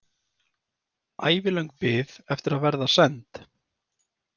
Ævilöng bið eftir að verða send.